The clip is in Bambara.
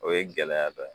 O ye gɛlɛya dɔ ye